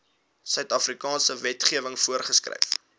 suidafrikaanse wetgewing voorgeskryf